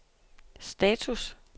status